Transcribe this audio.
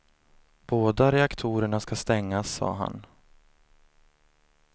Båda reaktorerna ska stängas, sa han.